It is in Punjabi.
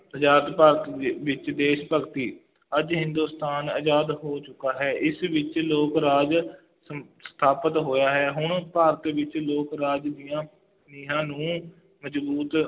ਆਜ਼ਾਦ ਭਾਰਤ ਦੇ ਵਿੱਚ ਦੇਸ਼ ਭਗਤੀ, ਅੱਜ ਹਿੰਦੁਸਤਾਨ ਆਜ਼ਾਦ ਹੋ ਚੁੱਕਾ ਹੈ, ਇਸ ਵਿੱਚ ਲੋਕ ਰਾਜ ਸ~ ਸਥਾਪਿਤ ਹੋਇਆ ਹੈ, ਹੁਣ ਭਾਰਤ ਵਿੱਚ ਲੋਕ ਰਾਜ ਦੀਆਂ ਨੀਂਹਾਂ ਨੂੰ ਮਜ਼ਬੂਤ